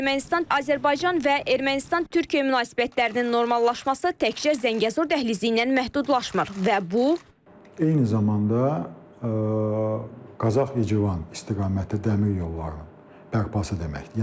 Ermənistan, Azərbaycan və Ermənistan-Türkiyə münasibətlərinin normallaşması təkcə Zəngəzur dəhlizi ilə məhdudlaşmır və bu eyni zamanda Qazax-İcivan istiqaməti dəmir yollarının bərpası deməkdir.